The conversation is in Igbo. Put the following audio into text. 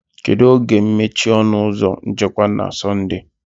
Kedu oge ga-emechi ọnụ ụzọ nchekwa na Sọnde?